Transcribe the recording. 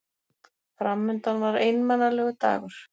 Fram undan var einmanalegur dagur.